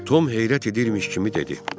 Tom heyrət edirmiş kimi dedi.